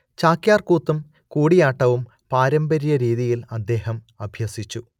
ചാക്യാർ കൂത്തും കൂടിയാട്ടവും പാരമ്പര്യ രീതിയിൽ അദ്ദേഹം അഭ്യസിച്ചു